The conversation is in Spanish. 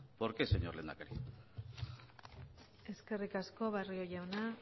por qué señor lehendakari eskerrik asko barrio jauna